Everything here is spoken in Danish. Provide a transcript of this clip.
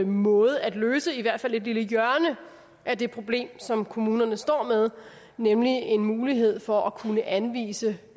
måde at løse i hvert fald et lille hjørne af det problem som kommunerne står med nemlig en mulighed for at kunne anvise